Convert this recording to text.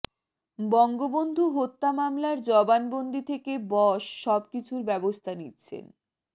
বঙ্গবন্ধু হত্যা মামলার জবানবন্দি থেকে বস সবকিছুর ব্যবস্থা নিচ্ছেন